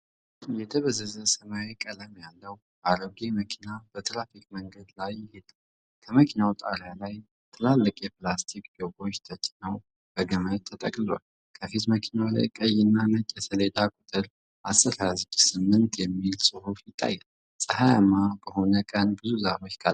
የደበዘዘ ሰማያዊ ቀለም ያለው አሮጌ መኪና በትራፊክ መንገድ ላይ ይሄዳል። ከመኪናው ጣሪያ ላይ ትላልቅ የፕላስቲክ ጆጎች ተጭነው በገመድ ተጠቅልለዋል። ከፊት መኪናው ላይ ቀይና ነጭ የሰሌዳ ቁጥር "10268" የሚል ጽሑፍ ይታያል። ፀሐያማ በሆነ ቀን ብዙ ዛፎች ከአጠገቡ ይገኛሉ።